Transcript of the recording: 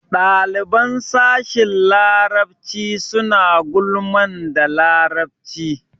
Ɗaliban sashin larabci suna gulman da larabci.